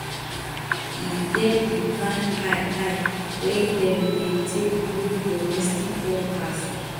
e get di kain eye eye wey dem dey take look domestic workers